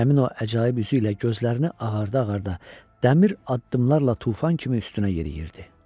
Həmin o əcaib üzü ilə gözlərini ağarda-ağarda, dəmir addımlarla tufan kimi üstünə yeriyirdi.